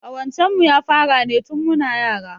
Ƙawancen mu ya fara ne tin muna yara